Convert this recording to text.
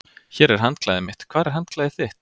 Hér er handklæðið mitt. Hvar er handklæðið þitt?